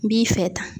N b'i fɛ tan